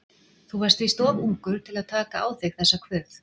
Þú varst víst of ungur til að taka á þig þessa kvöð.